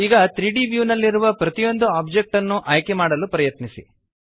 ಈಗ 3ದ್ ವ್ಯೂ ನಲ್ಲಿರುವ ಪ್ರತಿಯೊಂದು ಒಬ್ಜೆಕ್ಟ್ ನ್ನು ಆಯ್ಕೆಮಾಡಲು ಪ್ರಯತ್ನಿಸಿ